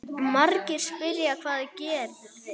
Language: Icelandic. Margir spyrja: Hvað gerðist?